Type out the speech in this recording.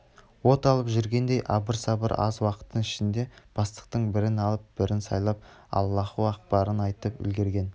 от алып жүргендей абыр-сабыр аз уақыттың ішінде бастықтың бірін алып бірін сайлап аллаһу акбарын айтып үлгерген